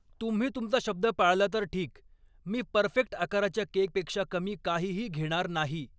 तुम्ही तुमचा शब्द पाळला तर ठीक. मी परफेक्ट आकाराच्या केकपेक्षा कमी काहीही घेणार नाही.